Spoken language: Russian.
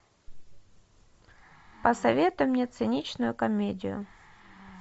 посоветуй мне циничную комедию